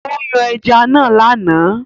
Ó yan ẹja náà lánàá